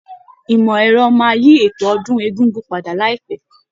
Ìmọ̀ ẹ̀rọ máa yí eto ọdún egúngún padà láìpẹ́.